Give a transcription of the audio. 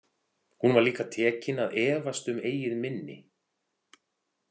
Hún var líka tekin að efast um eigið minni.